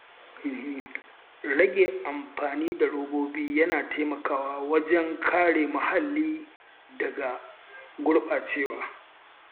Rage amfani da robobi yana taimakawa wajen kare muhalli daga gurɓacewa.